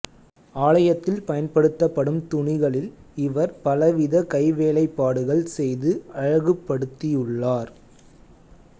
ஆலயத்தில் பயன்படுத்தப்படும் துணிகளில் இவர் பலவித கைவேலைப்பாடுகள் செய்து அழகுபடுத்தியுள்ளார்